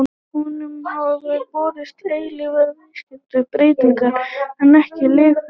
Honum hafa verið boðaðar eilífar vítiskvalir breyti hann ekki um lifnaðarhætti.